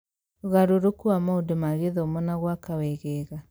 Ũgarũrũku wa maũndũ ma gĩthomo na gwaka wegega